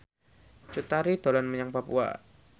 Cut Tari dolan menyang Papua